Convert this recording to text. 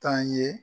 Taa ye